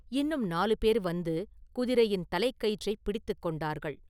இன்னும் நாலு பேர் வந்து குதிரையின் தலைக்கயிற்றைப் பிடித்துக் கொண்டார்கள்.